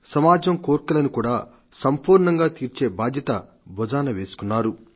సమాజం కోర్కెలను కూడా సంపూర్ణంగా తీర్చే బాధ్యత భుజాన వేసుకున్నారు